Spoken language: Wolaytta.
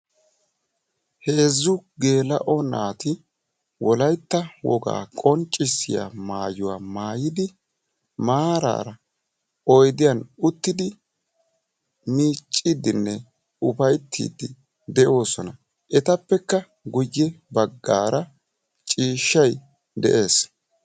heeezzu geela'o naati wolaytta wogaa qonccissiya maayuwa maayidi maaraara oydiyan uttidi miicidinne ufayttiidi de'oosona.